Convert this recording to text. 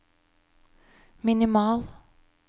minimal